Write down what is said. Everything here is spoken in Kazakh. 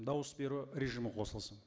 дауыс беру режимі қосылсын